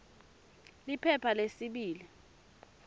liphepha lesibili p